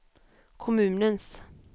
kommunens